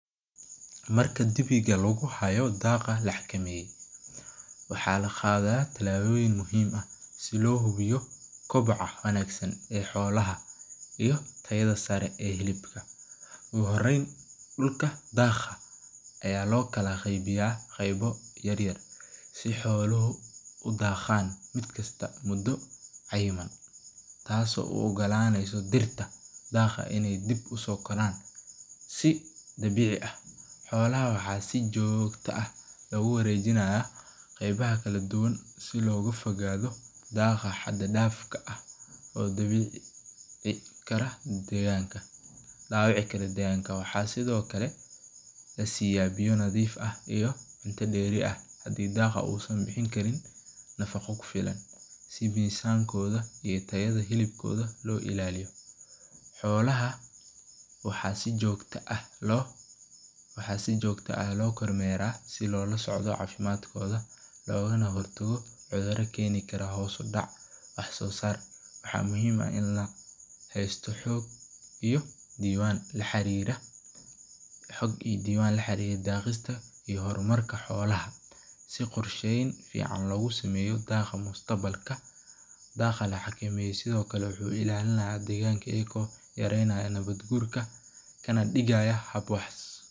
Marka dibiga lagu haayo daaqa, waxaa laqaada tilaboyin muhiim ah, oogu horeen dulka daaqa, si aay xoluhu udaqan, si aay dirta ukobcaan, qeebaha kala duban oo dawici kara deeganka, waxaa lasiiya biya nadiif ah, si tayada hilibka loo ilaaliyo, looga hor tago cuduraha keeni Karo, xog iyo diiban kaxariira, daaqa mustaqbalka, wuxuu ilaalinaayo deeganka.